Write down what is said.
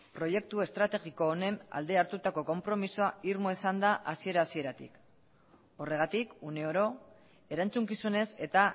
proiektu estrategiko honen alde hartutako konpromisoa irmoa izan da hasiera hasieratik horregatik uneoro erantzukizunez eta